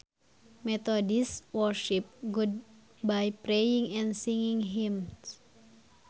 Methodists worship God by praying and singing hymns